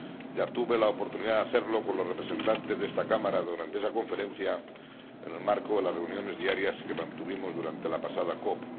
Ya tuve la oportunidad de hacerlo con los representantes de esta Cámara durante esa Conferencia, en el marco de las reuniones diarias que mantuvimos durante la pasada COP.